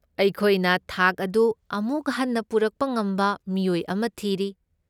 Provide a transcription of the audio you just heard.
ꯑꯩꯈꯣꯏꯅ ꯊꯥꯛ ꯑꯗꯨ ꯑꯃꯨꯛ ꯍꯟꯅ ꯄꯨꯔꯛꯄ ꯉꯝꯕ ꯃꯤꯑꯣꯏ ꯑꯃ ꯊꯤꯔꯤ꯫